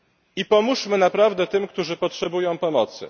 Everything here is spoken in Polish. I pomóżmy naprawdę tym, którzy potrzebują pomocy.